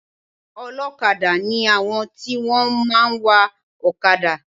Olókadá ni àwọn tí wọ́n máa ń wa òkadà